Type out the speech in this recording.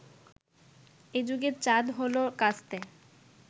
এ যুগের চাঁদ হলো কাস্তে